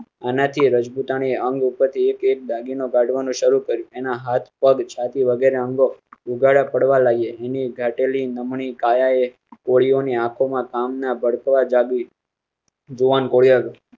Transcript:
આનાથી રાજપૂતાના એ અંગ ઉપરથી એક એક દાગી નો કાઢવા નું શરૂ કરો. એના હાથ પઘ છાતી વગેરે અંગો ઉઘાડાં પડવા લાગ્યાં. એની ઘાટી લી નમણી કાયાએ કોળીઓ ની આંખો માં કામ ના ભડકા જાગી. જુવાન કોરિયા